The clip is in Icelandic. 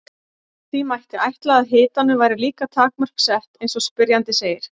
Því mætti ætla að hitanum væri líka takmörk sett eins og spyrjandi segir.